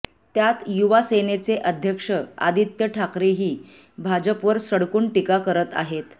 त्यात युवासेनेचे अक्षध्य आदित्य ठाकरेही भाजपवर सडकून टीका करत आहेत